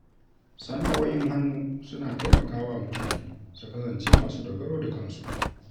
Sana’o’in hannu suna taimaka wa mutane su kasance masu dogaro da kansu.